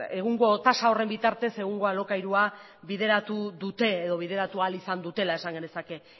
egungo tasa horren bitartez egungo alokairua bideratu dute edo bideratu ahal izan dutela esan genezake